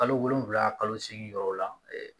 Kalo wolonfila kalo seegin yɔrɔ la